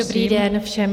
Dobrý den všem.